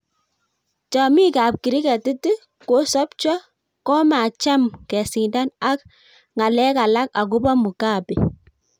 chamik ab kriketit, 'kosapcho' komacham kesindan ak ng'alekalak agobo Mugabe.